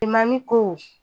mami ko